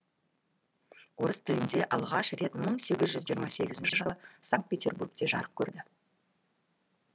орыс тілінде алғаш рет мың сегіз жүз жиырма сегізінші жылы санкт петербургте жарық көрді